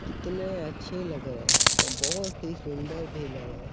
कितने अच्छे लग रहे हैं और बहुत ही सुन्दर भी लग रहे हैं ।